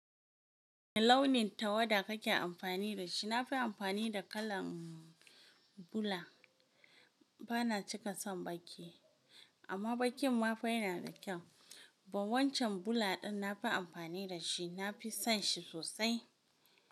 Wane launin tawada kake amfani da shi? Na fi amfani da kalan bula, ba na cika son baƙi. Amma baƙin ma fa yana da kyau. Ban wancan bula ɗin na fi amfani da shi, na fi son shi sosai.